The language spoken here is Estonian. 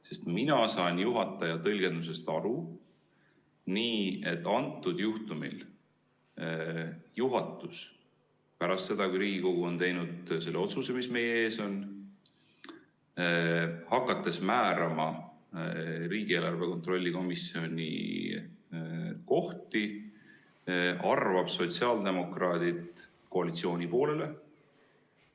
Sest mina saan juhataja tõlgendusest aru nii, et praegusel juhtumil juhatus pärast seda, kui Riigikogu on teinud selle otsuse, mis meie ees on, hakates määrama riigieelarve kontrolli erikomisjoni kohti, arvab sotsiaaldemokraadid koalitsiooni poolele.